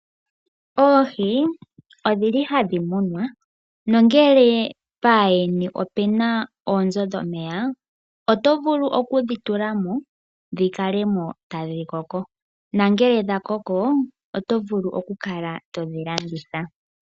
Oohi odhili hadhi munwa nongele paayeni opena oonzo dhomeya oto vulu okudhi tulamo dhikalemo tadhikoko, nangele dha koko otovulu okukala todhi landitha.